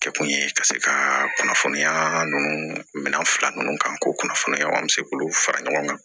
Kɛ kun ye ka se ka kunnafoniya ninnu minan fila minnu kan ko kunnafoniya an bɛ se k'olu fara ɲɔgɔn kan